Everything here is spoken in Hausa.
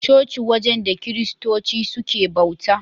Coci wajen da Kiristoci suke bauta.